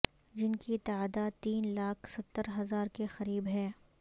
جن کی تعداد تین لاکھ ستر ہزار کے قریب ہے